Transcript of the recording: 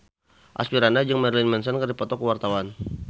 Asmirandah jeung Marilyn Manson keur dipoto ku wartawan